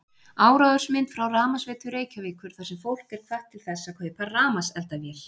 Áróðursmynd frá Rafmagnsveitu Reykjavíkur þar sem fólk er hvatt til þess að kaupa rafmagnseldavél